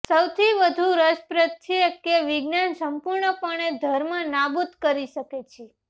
સૌથી વધુ રસપ્રદ છે કે વિજ્ઞાન સંપૂર્ણપણે ધર્મ નાબૂદ કરી શકે છે